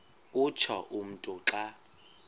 utsho umntu xa